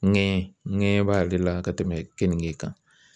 Ŋɛɲɛ ŋɛɲɛ b'ale la ka tɛmɛ keninke kan.